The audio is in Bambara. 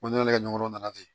Ko ne nana kɛ ɲɔgɔn nana ten